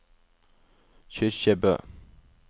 Kyrkjebø